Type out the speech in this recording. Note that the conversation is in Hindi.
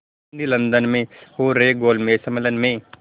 गांधी लंदन में हो रहे गोलमेज़ सम्मेलन में